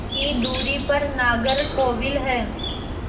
की दूरी पर नागरकोविल है